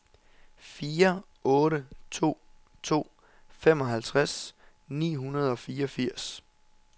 fire otte to to femoghalvtreds ni hundrede og fireogfirs